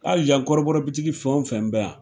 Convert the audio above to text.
Hali yan kɔrɔbɔrɔ bitiki fɛn o fɛn bɛ yan